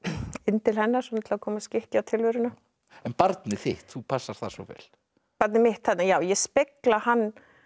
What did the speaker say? inn til hennar til að koma skikki á tilveruna en barnið þitt þú passar það svo vel barnið mitt já ég spegla hann